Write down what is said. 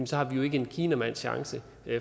så har vi jo ikke en kinamands chance